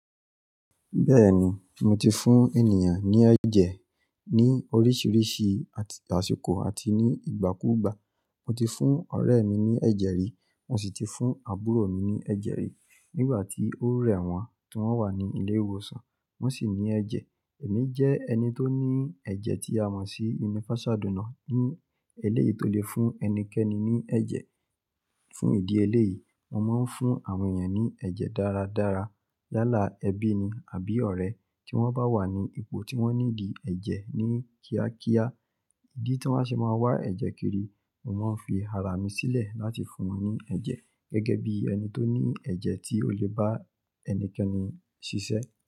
Bẹ́ẹ̀ni, mo ti fún ènìyàn ní ẹ̀jẹ̀ ní oríṣiríṣi àsìkò àti ní ìgbàkúgbà. Mo ti fún ọ̀rẹ́ mi ní ẹ̀jẹ̀ rí, mo sì ti fún àbúrò mi ní ẹ̀jẹ̀ rí. Nígbà tí ó rẹ́ wọn tí wọ́n wà ní ilé ìwòsàn, wọ́n sì ní ẹ̀jẹ̀. Èmi jẹ́ ẹni tó ní ẹ̀jẹ̀ tí a mọ̀ sí universal donor. Ní eléyìí tó lè fún ẹnikẹ́ni ní ẹ̀jẹ̀. Fún ìdí eléyìí, mo máa ń fún àwọn ènìyàn ní ẹ̀jẹ̀ dáradára. Yaàlá ẹbí ni àbí ọ̀rẹ́ tí wọ́n bá wà ní ipò tí wọ́n níidi ẹ̀jẹ̀ ní kíákíá, ìdí tí wọ́n á ṣe máa wá ẹ̀jẹ̀ kiri, mo máa ń fi ara mi sílẹ̀ láti fún wọn ní ẹ̀jẹ̀ gẹ́gẹ́ bí ẹni tó ní ẹ̀jẹ̀ tí ó lè bá ẹnikẹ́ni ṣiṣẹ́.